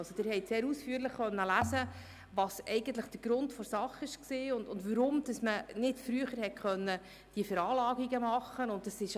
In einem sehr ausführlichen Papier konnten Sie lesen, was der Grund für diese Sache war und weshalb man diese Veranlagungen nicht eher vornehmen konnte.